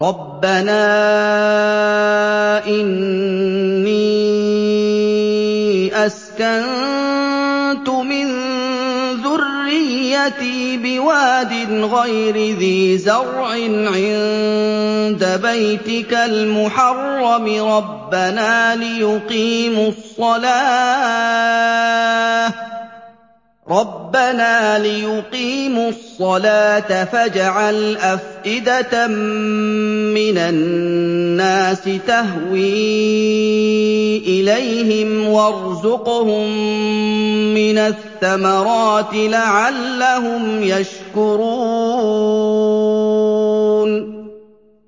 رَّبَّنَا إِنِّي أَسْكَنتُ مِن ذُرِّيَّتِي بِوَادٍ غَيْرِ ذِي زَرْعٍ عِندَ بَيْتِكَ الْمُحَرَّمِ رَبَّنَا لِيُقِيمُوا الصَّلَاةَ فَاجْعَلْ أَفْئِدَةً مِّنَ النَّاسِ تَهْوِي إِلَيْهِمْ وَارْزُقْهُم مِّنَ الثَّمَرَاتِ لَعَلَّهُمْ يَشْكُرُونَ